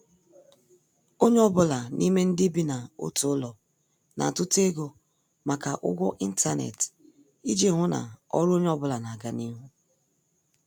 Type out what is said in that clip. Onye ọ bụla n'ime ndị bi n' otu ụlọ na- atuta ego maka ụgwọ intanet iji hụ na ọrụ onye ọ bụla n' aga n' ihu.